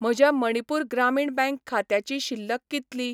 म्हज्या मणिपूर ग्रामीण बँक खात्याची शिल्लक कितली?